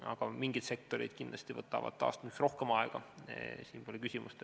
Aga mingites sektorites kindlasti võtab taastumine rohkem aega, siin pole mingit küsimust.